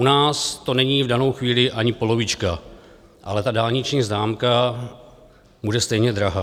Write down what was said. U nás to není v danou chvíli ani polovička, ale ta dálniční známka bude stejně drahá.